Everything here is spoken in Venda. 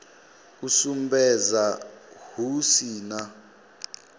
u sumbedza hu si na